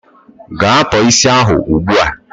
Gaa tọọ isi ahụ ugbua!